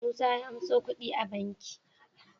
Musa ya anso kudi banki